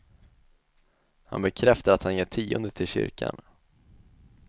Han bekräftar att han ger tionde till kyrkan.